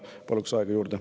Paluks aega juurde.